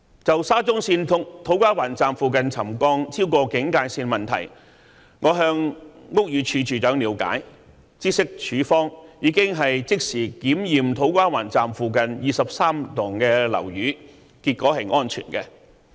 就沙中線土瓜灣站附近的沉降超過警戒線的問題，我曾向屋宇署署長了解，知悉署方已即時檢驗土瓜灣站附近23幢樓宇，結果顯示是安全的。